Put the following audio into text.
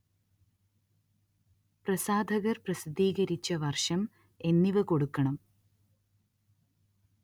പ്രസാധകര്‍ പ്രസിദ്ധീകരിച്ച വര്‍ഷം എന്നിവ കൊടുക്കണം